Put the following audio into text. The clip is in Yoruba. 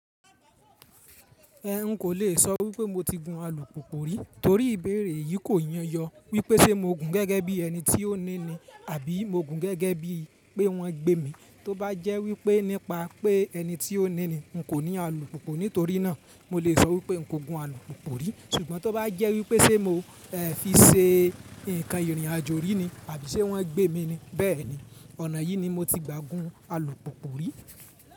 Ẹn, n kò lè sọ wípé mo ti gun alùpùpù rí torí ìbéèrè yìí kò yán yọ wípé ṣe mo gùn gẹ́gẹ́ bí ẹni tí ó ní ni àbí mo gùn gẹ́gẹ́ bí pé wọ́n gbé mi, tó bá jẹ́ wípé nípa pé ẹni tí ó ní ni n kò ní alùpùpù nítorí náà, mo lè sọ wípé n kò gun alùpùpù rí. Ṣùgbọ́n tó bá jẹ́ wípé ṣe mò ẹn fi ṣe ǹkan ìrìnàjò rí ni àbí ṣe wọ́n gbé mi ni, bẹ́ẹ̀ni, ọ̀nà yìí ni mo ti gba gun alùpùpù rí.